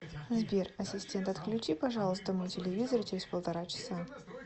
сбер ассистент отключи пожалуйста мой телевизор через полтора часа